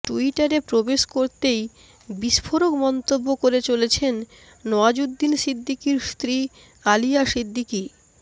ট্যুইটারে প্রবেশ করতেই বিস্ফোরক মন্তব্য করে চলেছেন নওয়াজুদ্দিন সিদ্দিকির স্ত্রী আলিয়া সিদ্দিকি